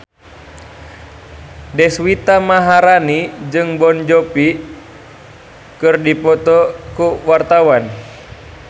Deswita Maharani jeung Jon Bon Jovi keur dipoto ku wartawan